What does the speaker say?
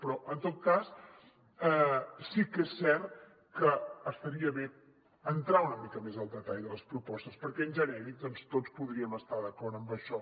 però en tot cas sí que és cert que estaria bé entrar una mica més al detall de les propostes perquè en genèric doncs tots podríem estar d’acord amb això